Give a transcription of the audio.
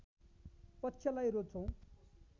पक्षलाई रोज्छौ